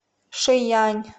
шиянь